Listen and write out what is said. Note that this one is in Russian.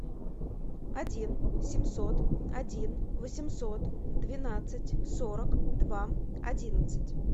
один семьсот один восемьсот двенадцать сорок два одиннадцать